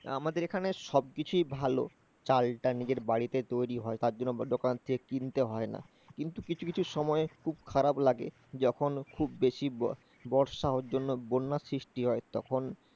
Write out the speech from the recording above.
আমাদের এখানে সব কিছুই ভালো চালটা নিজের বাড়িতে তৈরি হয়, তার জন্য দোকান থেকে কিনতে হয় না। কিন্তু কিছু কিছু সময় খুব খারাপ লাগে, যখন খুব বেশি বর্ষা হওয়ার জন্য বন্যার সৃষ্টি হয় তখন,